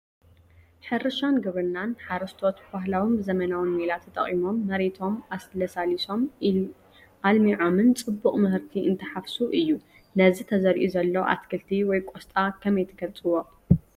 ሕርሻን ግብርናን፡- ሓረስቶት ብባህላውን ብዘበናውን ሜላ ተጠቒሞም መሬቶም ኣለሳሊሶምን ኣልሚዖምን ፅቡቕ ምህርቲ እንትሓፍሱ እዩ፡፡ ነዚ ተዘሪኡ ዘሎ ኣትክልቲ ወይ ቆስጣ ከመይ ትገልፅዎ?